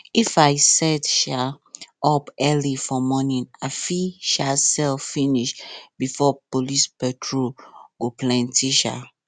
if i set um up early for morning i fit um sell finish before police patrol go plenty um